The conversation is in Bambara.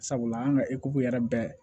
Sabula an ka yɛrɛ bɛɛ